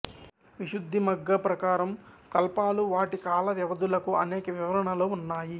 విశుద్ధిమగ్గా ప్రకారం కల్పాలు వాటి కాల వ్యవధులకు అనేక వివరణలు ఉన్నాయి